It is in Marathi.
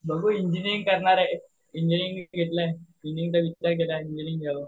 बघू इंजिनियरिंग करणार आहे. इंजिनिअरिंग घेतलंय